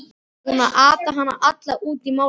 Búinn að ata hana alla út í málningu!